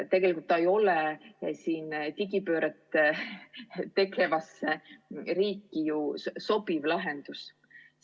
Tegelikult see ei ole digipööret tegevasse riiki sobiv lahendus.